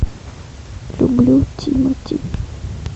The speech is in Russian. люблю тимати